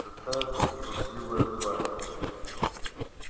какая-то трусливая тварь